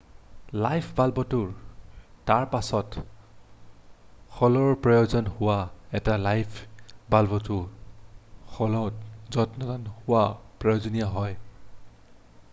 light বাল্বটো তাৰপাছত সলোৱাৰ প্ৰয়োজন হয়৷ এইটো লাইট বাল্বটো সলোৱাত যত্নৱান হোৱাটো প্ৰয়োজনীয় হয়৷